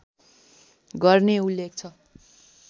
गर्ने उल्लेख छ